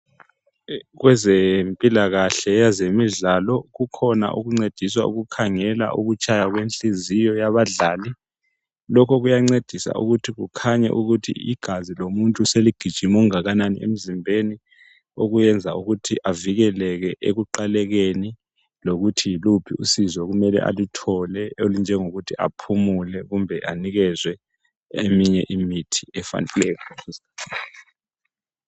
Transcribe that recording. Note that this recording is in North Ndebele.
Kwezempilakahle, kwezemidlalo kukhona okuncedisa ukukhangela ukutshaya kwenhliziyo yabadlali. Lokhu kuyancedisa ukuthi kukhanye ukuthi igazi lomuntu seligijime kangakanani emzimbeni okuyenza ukuthi avikeleke ekuqalekeni lokuthi yiluphi usizo okumele aluthole olunjengokuthi aphumule kumbe anikezwe eminye imithi efaneleyo.